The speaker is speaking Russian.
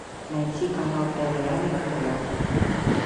найти канал твм на тв